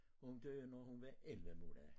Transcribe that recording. Hun døde når hun var 11 måneder